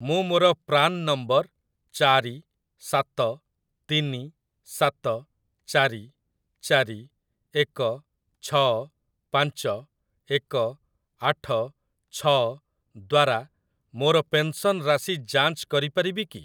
ମୁଁ ମୋର PRAN number ଚାରି ସାତ ତିନି ସାତ ଚାରି ଚାରି ଏକ ଛଅ ପାଞ୍ଚ ଏକ ଆଠ ଛଅ ଦ୍ଵାରା ମୋର ପେନ୍‌ସନ୍‌ ରାଶି ଯାଞ୍ଚ କରିପାରିବି କି ?